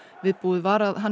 viðbúið var að hann